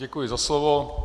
Děkuji za slovo.